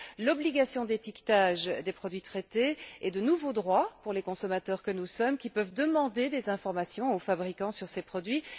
l'obligation d'étiquetage des produits traités et de nouveaux droits pour les consommateurs que nous sommes, qui peuvent demander des informations aux fabricants sur ces produits.